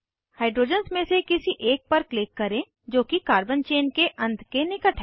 hydrogens में से किसी एक पर क्लिक करें जो कि कार्बन चेन के अंत के निकट है